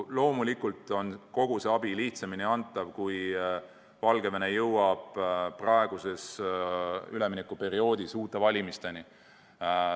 Loomulikult on kogu see abi lihtsamini antav, kui Valgevene jõuab praeguses üleminekuperioodis uute valimisteni.